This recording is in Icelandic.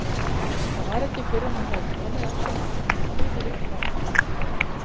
Það var ekki fyrr en hún hafði komið af sér matnum og klifið upp á